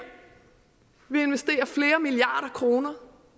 vi investerer flere milliarder kroner